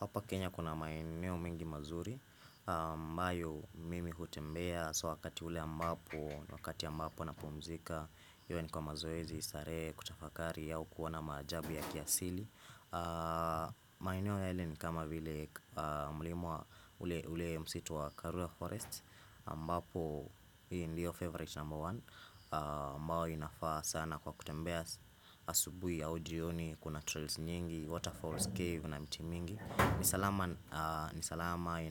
Hapa Kenya kuna maeneo mingi mazuri ambayo mimi hutembea so wakati ule ambapo Wakati ambapo napumzika iwe ni kwa mazoezi, starehe, kutafakari au kuona maajabu ya kiasili maeneo yale ni kama vile mlima wa ule msitu wa Karura Forest ambapo hiyo ndio favorite number one ambayo inafaa sana kwa kutembea Asubui aujioni kuna trails nyingi Waterfalls cave na mti mingi ni salama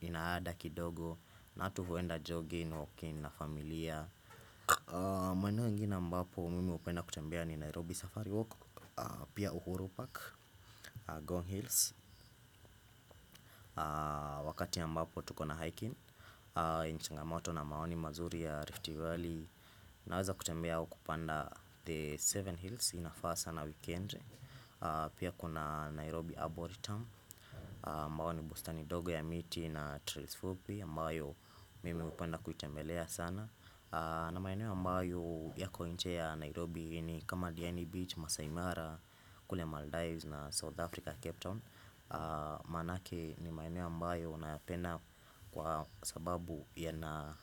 Inaada kidogo na watu huwenda jogging, walking na familia maeneo inginee ambapo mimi hupenda kutembea ni Nairobi safari Walk Pia uhuru Park, Ngong Hills Wakati ambapo tuko na hiking changamoto na maoni mazuri ya Rifty Valley Naweza kutembea au kupanda The Seven Hills inafaa sana weekend Pia kuna Nairobi Arboritum ambao ni bustani dogo ya miti ina Trails fupi ambayo mimi hupenda kuitambelea sana na maeneo mbao yako nje ya Nairobi ni kama Diani Beach, Masaimara, kule Maldives na South Africa Capetown Manake ni maeneo ambayo unayapenda kwa sababu yana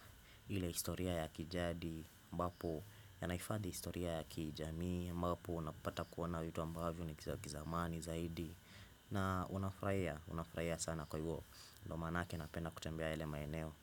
ile historia ya kijadi, ambapo yanaifadi historia ya kijamii ambapo unapata kuona vitu ambavyo ni za kizamani zaidi na unafraia, unafraia sana kwa hivyo ndio maanake napenda kutembea elema eneo.